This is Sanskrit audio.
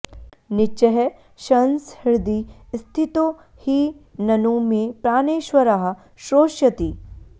नीचैः शंस हृदि स्थितो हि ननु मे प्राणेश्वरः श्रोष्यति